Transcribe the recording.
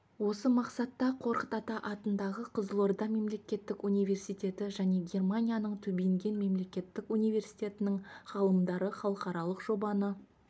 осы мақсатта қорқыт ата атындағы қызылорда мемлекеттік университеті және германияның тюбинген мемлекеттік университетінің ғалымдары халықаралық жобаны